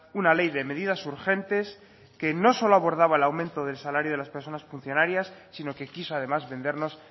una ley de medidas urgentes que no solo abordaba el aumento del salario de las personas funcionarias sino que quiso además vendernos